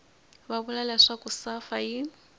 va vula leswaku safa yi